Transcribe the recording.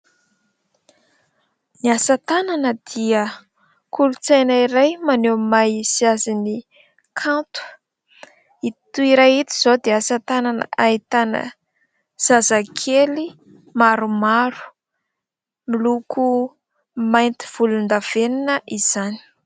Ny asa tanana dia kolontsaina iray maneho ny maha izy azy ny kanto. Ito iray ito izao dia asa tanana ahitana zazakely maromaro miloko mainty volondavenina izany.